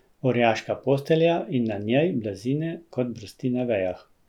Orjaška postelja in na njej blazine kot brsti na vejah.